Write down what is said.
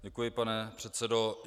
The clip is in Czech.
Děkuji, pane předsedo.